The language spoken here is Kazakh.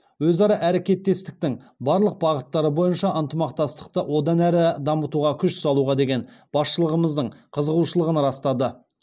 өзара әрекеттестіктің барлық бағыттары бойынша ынтымақтастықты одан әрі дамытуға күш салуға деген басшылығымыздың қызығушылығын растады